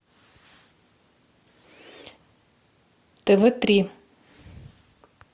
тв три